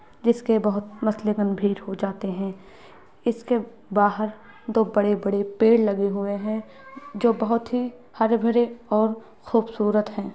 जिसके बहुत भीड़ हो जाते है इसके बाहर दो बड़े-बड़े पेड़ लगे हुए हैं जो बहुत ही हरे भरे और खूबसूरत है।